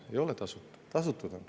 Ei ole tasuta, tasutud on.